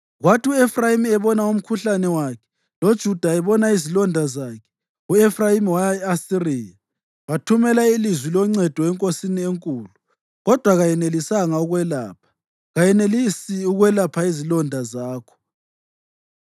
Kwathi u-Efrayimi ebona umkhuhlane wakhe, loJuda ebona izilonda zakhe, u-Efrayimi waya e-Asiriya, wathumela ilizwi loncedo enkosini enkulu. Kodwa kayenelisi ukukwelapha, kayenelisi ukwelapha izilonda zakho.